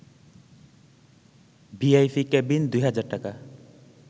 VIP cabin ২ হাজার টাকা